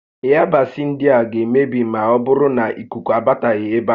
Ịyabasị ndịa ga-emebi maọbụrụ nà ikuku abataghị ébé a